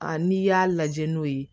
Aa n'i y'a lajɛ n'o ye